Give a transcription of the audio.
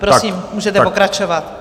Prosím, můžete pokračovat.